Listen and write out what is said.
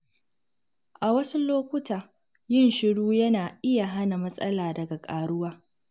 A wasu lokuta, yin shiru yana iya hana matsala daga ƙaruwa.